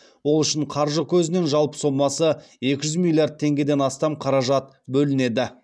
ол үшін қаржы көзінен жалпы сомасы екі жүз миллиард теңгеден астам қаражат бөлінеді